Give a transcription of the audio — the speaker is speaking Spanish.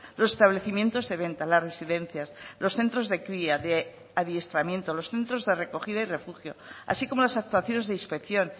los establecimientos de venta las residencias los centros de cría de adiestramiento los centros de recogida y refugio así como las actuaciones de inspección